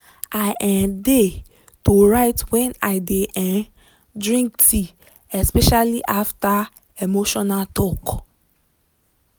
i um dey to write when i de um drink tea especially after emotional talk.